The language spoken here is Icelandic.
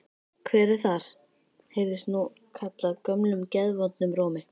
Hver er þar? heyrðist nú kallað gömlum geðvondum rómi.